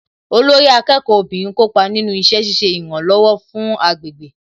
Olórí akẹ́kọ̀ọ́ obìnrin kópa nínú iṣẹ́ ṣiṣẹ́ ìrànlọ̀wọ̀ fún agbègbè